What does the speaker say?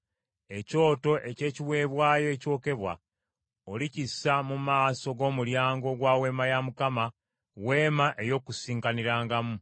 “Ekyoto eky’ekiweebwayo ekyokebwa olikissa mu maaso g’omulyango ogwa Weema ya Mukama , Weema ey’Okukuŋŋaanirangamu,